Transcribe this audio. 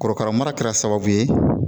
Korokara mara kɛra sababu ye